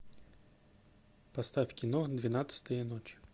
поставь кино двенадцатая ночь